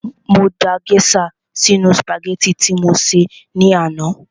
Mo da gèésà sínu sùpàgẹ́tì tí mo sè ní àná